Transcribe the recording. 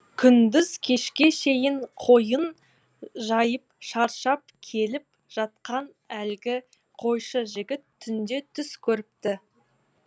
күндіз кешке шейін қойын жайып шаршап келіп жатқан әлгі қойшы жігіт түнде түс көріпті